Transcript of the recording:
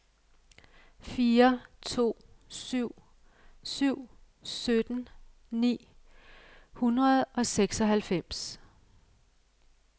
fire to syv syv sytten ni hundrede og seksoghalvfems